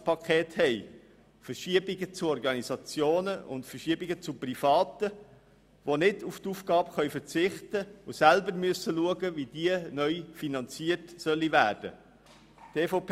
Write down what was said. Es gibt Verschiebungen hin zu Organisationen und zu Privaten, die nicht auf diese Aufgabe verzichten können und selber schauen müssen, wie diese neu finanziert werden kann.